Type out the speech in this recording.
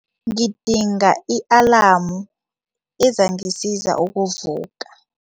Ngidinga i-alamu ezangisiza ukuvuka.